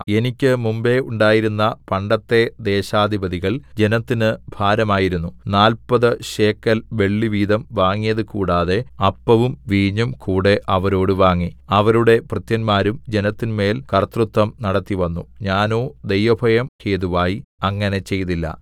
എനിക്ക് മുമ്പെ ഉണ്ടായിരുന്ന പണ്ടത്തെ ദേശാധിപതികൾ ജനത്തിന് ഭാരമായിരുന്നു നാല്പത് ശേക്കെൽ വെള്ളിവീതം വാങ്ങിയത് കൂടാതെ അപ്പവും വീഞ്ഞും കൂടെ അവരോട് വാങ്ങി അവരുടെ ഭൃത്യന്മാരും ജനത്തിന്മേൽ കർത്തൃത്വം നടത്തിവന്നു ഞാനോ ദൈവഭയം ഹേതുവായി അങ്ങനെ ചെയ്തില്ല